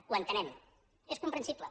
ho entenem és comprensible